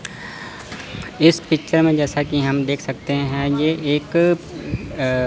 इस पिक्चर में जैसा कि हम देख सकते हैं ये एक अ--